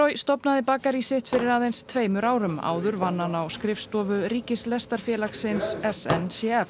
stofnaði bakarí sitt fyrir aðeins tveimur árum áður vann hann á skrifstofu s n c f